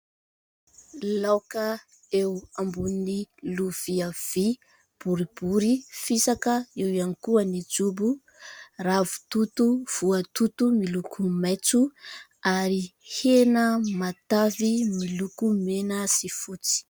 Laoka eo ambony lovia vy, boribory, fisaka, eo ihany koa ny jobo. Ravitoto voatoto, miloko maitso ary hena matavy miloko mena sy fotsy.